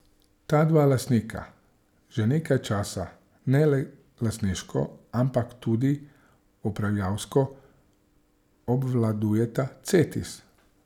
Ta dva lastnika že nekaj časa ne le lastniško, ampak tudi upravljavsko obvladujeta Cetis.